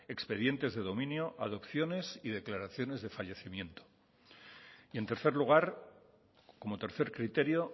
expedientes de dominio adopciones y declaraciones de fallecimiento y en tercer lugar como tercer criterio